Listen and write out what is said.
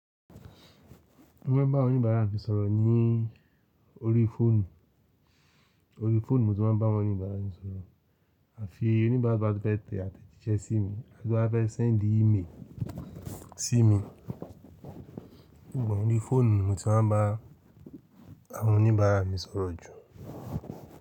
Mo ń bá àwọn oníbàárà mi sọ̀rọ̀ ní orí fóònù. Orí fóònù ni mo ti máa ń bá àwọn oníbàárà mi sọ̀rọ̀. À fi í oníbàárà bá ti fẹ́ tẹ àtẹ̀jíṣẹ́ sí mi àti bá fẹ́ send email sí mi, níbò ni orí fóònù ni mo ti máa ń bá àwọn oníbàárà mi sọ̀rọ̀ jù.